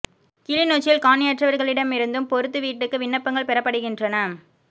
கிளிநொச்சியில் காணியற்றவா்களிடமிருந்தும் பொருத்து வீட்டுக்கு விண்ணப்ங்கள் பெறப்படுகின்றன